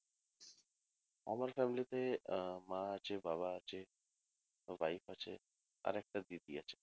আমার family আহ মা আছে বাবা আছে আমার wife আছে আর একটা দিদি আছে